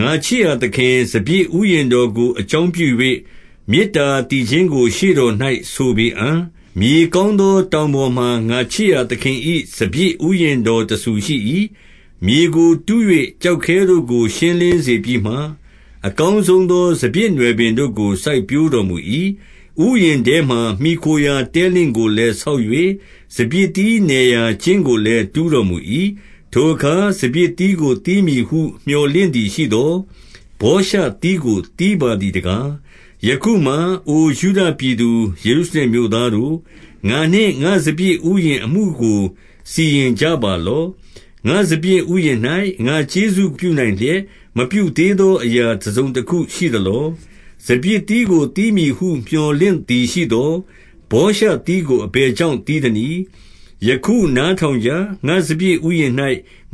ငါချစ်ရာသခင်၏ စပျစ်ဥယျာဉ်တော်ကို အကြောင်းပြု၍၊ မေတ္တာသီချင်းကို ရှေ့တော်၌ဆိုပေအံ့။ မြေကောင်းသော တောင်ပေါ်မှာ ငါချစ်ရာသခင်၏ စပျစ်ဥယျာဉ်တော်တဆူရှိ၏။ မြေကိုတူး၍ ကျောက်ခဲတို့ကို ရှင်းလင်းစေပြီးမှ၊ အကောင်းဆုံးသော စပျစ်နွယ်ပင်တို့ကို စိုက်ပျိုးတော် မူ၏။ ဥယျာဉ်ထဲမှာ မှီခိုရာတဲလင့်ကိုလည်း ဆောက်၍၊ စပျစ်သီးနယ် ရာကျင်းကိုလည်း တူးတော်မူ၏။ ထိုအခါ စပျစ်သီးကို သီးမည်ဟုမြော်လင့်သည်ရှိသော်၊ ဗောရှသီး ကို သီးပါသည်တကား။ ယခုမှာ အိုယုဒပြည်သူ၊ ယေရုရှလင်မြို့သားတို့၊ ငါနှင့်ငါ့စပျစ်ဥယျာဉ်အမှုကို စီရင်ကြပါလော့။ ငါ့စပျစ်ဥယျာဉ်၌ ငါ့ကျေးဇူးပြုနိုင်လျက်၊ မပြု သေးသော အရာတစုံတခုရှိသလော။ စပျစ်သီးကို သီးမည်ဟု မြော်လင့်သည်ရှိသော်။ ဗောရှသီးကို အဘယ် ကြောင့် သီးသနည်း။ ယခုနားထောင်ကြ။ ငါ့စပျစ်ဥယျာဉ်၌